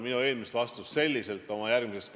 Eile toimus siin saalis hääletus.